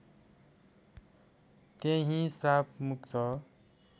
त्यहि श्राप मुक्त